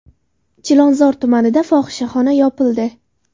Chilonzor tumanida fohishaxona yopildi.